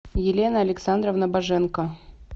елена александровна боженко